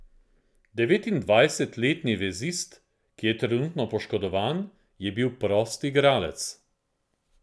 Devetindvajsetletni vezist, ki je trenutno poškodovan, je bil prost igralec.